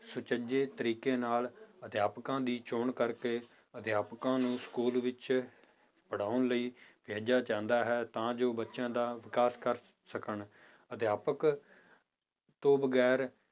ਸੁਚੱਜੇ ਤਰੀਕੇ ਨਾਲ ਅਧਿਆਪਕਾਂ ਦੀ ਚੌਣ ਕਰਕੇ ਅਧਿਆਪਕਾਂ ਨੂੰ ਸਕੂਲ ਵਿੱਚ ਪੜ੍ਹਾਉਣ ਲਈ ਭੇਜਿਆ ਜਾਂਦਾ ਹੈ ਤਾਂ ਜੋ ਬੱਚਿਆਂ ਦਾ ਵਿਕਾਸ ਕਰ ਸਕਣ ਅਧਿਆਪਕ ਤੋਂ ਵਗ਼ੈਰ